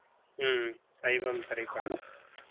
ஹம் சைவம் திரைப்படம்